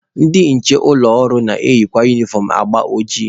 Ndị nche ụlọ ọrụ na-eyikarị unifọm agba ojii.